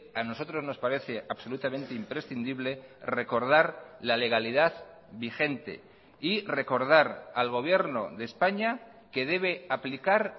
a nosotros nos parece absolutamente imprescindible recordar la legalidad vigente y recordar al gobierno de españa que debe aplicar